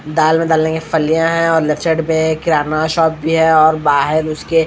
दाल में डालने की फलियां है और लचड में किराना शब्द भी हैं और बाहर उसके--